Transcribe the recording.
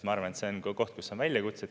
Ma arvan, et see on koht, kus on väljakutsed.